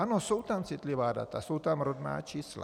Ano, jsou tam citlivá data, jsou tam rodná čísla.